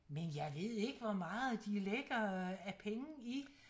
Men jeg ved ikke hvor meget de lægger af penge i